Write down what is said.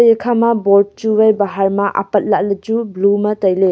ekha ma board chu wai bahar ma apatla le chu blue mai taile.